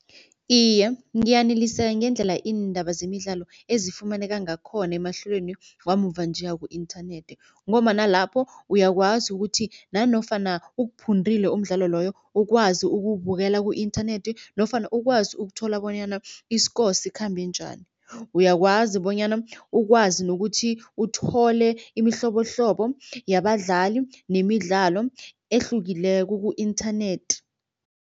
Iye, ngiyaneliseka ngendlela iindaba zemidlalo ezifumaneka ngakhona emahlelweni wamuva nje waku-internet ngombana lapho uyakwazi ukuthi nanofana ukuphundile umdlalo loyo ukwazi ukuwubukela ku-inthanethi nofana ukwazi ukuthola bonyana i-score sikhambe njani. Uyakwazi bonyana ukwazi nokuthi uthole imihlobohlobo yabadlali nemidlalo ehlukileko ku-internet.